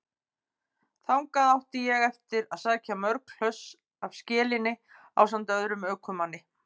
Þangað átti ég eftir að sækja mörg hlöss af skelinni ásamt öðrum ökumanni.